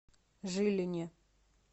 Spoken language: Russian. жилине